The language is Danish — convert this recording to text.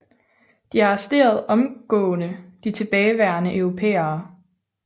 De arresterede omgående de tilbageværende europæere